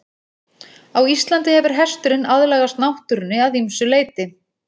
Á Íslandi hefur hesturinn aðlagast náttúrunni að ýmsu leyti.